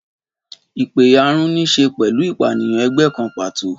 Ìpẹ̀yàrun ní í ṣe pẹ̀lú ìpànìyàn ẹgbẹ́ kan pàtó.